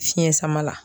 Fiɲɛ sama la